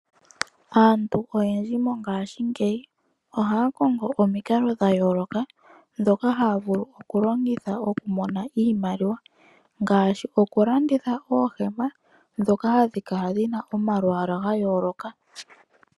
Aabtu oyendji mongashingeyi ohaya kongo omikalo odhindji ndhono yena okulongitha ya mone oshimaliwa ngaashi okulanditha oohema ndhoka gadhi kala dhina omalwalwa ga yooloka.